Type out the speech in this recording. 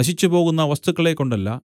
നശിച്ചുപോകുന്ന വസ്തുക്കളെക്കൊണ്ടല്ല